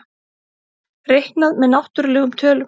Reiknað með náttúrlegum tölum.